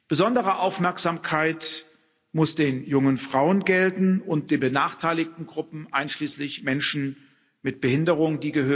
Besondere Aufmerksamkeit muss den jungen Frauen gelten und den benachteiligten Gruppen, einschließlich Menschen mit Behinderungen.